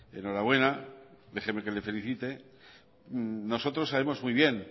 enhorabuena déjeme que le felicite nosotros sabemos muy bien